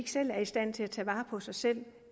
selv er i stand til at tage vare på sig selv